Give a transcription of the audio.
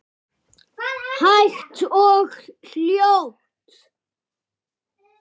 Hægt og hljótt.